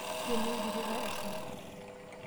Ngeno embirika asioki.